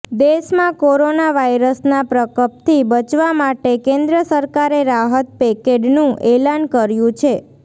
દેશમાં કોરોના વાયરસના પ્રકપથી બચવા માટે કેન્દ્ર સરકારે રાહત પેકેડનુ એલાન કર્યુ છે